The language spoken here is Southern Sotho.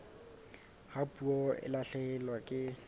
ha puo e lahlehelwa ke